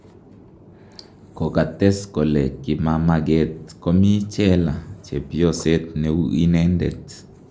kokates kole kimamaget komi cheela chpeyoset neu inendet